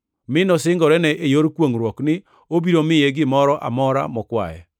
mi nosingorene, e yor kwongʼruok ni obiro miye gimoro amora mokwaye.